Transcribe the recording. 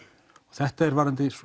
þetta er varðandi